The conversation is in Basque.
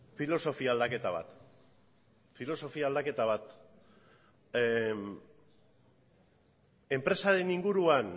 filosofia aldaketa bat filosofia aldaketa bat enpresaren inguruan